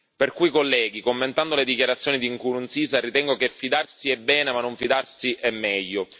Perciò, colleghi, commentando le dichiarazioni di Nkurunziza, ritengo che fidarsi è bene ma non fidarsi è meglio.